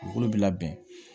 Dugukolo bi labɛn